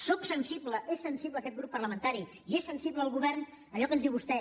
sóc sensible és sensible aquest grup parlamentari i és sensible el govern a allò que ens diu vostè